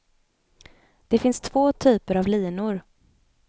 Det finns två typer av linor.